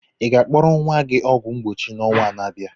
Ị ga akpọrọ nwa gị ọgwụ mgbochi n'ọnwa na abịa?